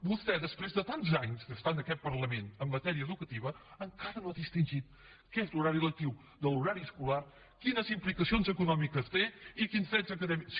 vostè després de tants anys d’estar en aquest parlament en matèria educativa encara no ha distingit l’horari lectiu de l’horari escolar quines implicacions econòmiques té i quins drets acadèmics